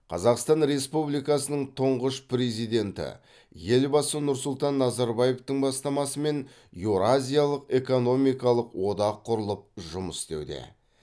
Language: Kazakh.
қазақстан республикасының тұңғыш президенті елбасы нұрсұлтан назарбаевтың бастамасымен еуразиялық экономикалық одақ құрылып жұмыс істеуде